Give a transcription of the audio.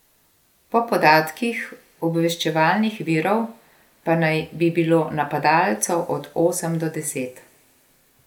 Po podatkih obveščevalnih virov pa naj bi bilo napadalcev od osem do deset.